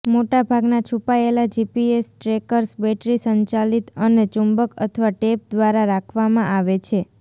મોટા ભાગના છુપાયેલા જીપીએસ ટ્રેકર્સ બેટરી સંચાલિત અને ચુંબક અથવા ટેપ દ્વારા રાખવામાં આવે છે